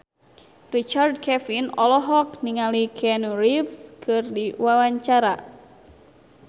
Richard Kevin olohok ningali Keanu Reeves keur diwawancara